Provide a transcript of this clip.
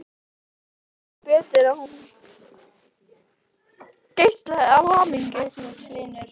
Hann sá ekki betur en að hún geislaði af hamingju.